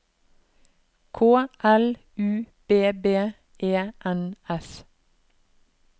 K L U B B E N S